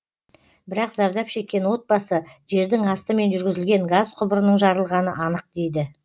бірақ зардап шеккен отбасы жердің астымен жүргізілген газ құбырының жарылғаны анық дейді